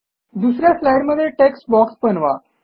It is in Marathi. दुस या स्लाईडमध्ये टेक्स्टबॉक्स बनवा